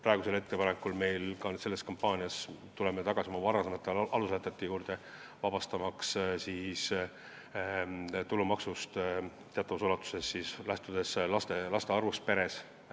Praeguses kampaanias tuleme tagasi oma aluslätete juurde, et teatavas ulatuses tuleks inimesi tulumaksust vabastada, lähtudes laste arvust perest.